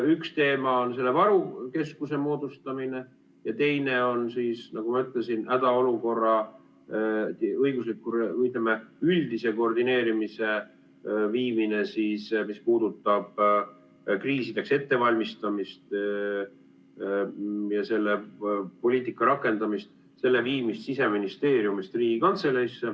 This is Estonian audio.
Üks teema on varu keskuse moodustamine ja teine on, nagu ma ütlesin, hädaolukorra õigusliku või, ütleme, üldise koordineerimise viimine Siseministeeriumist Riigikantseleisse, mis puudutab kriisideks ettevalmistamist ja selle poliitika rakendamist.